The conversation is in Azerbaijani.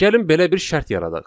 Gəlin belə bir şərt yaradaq.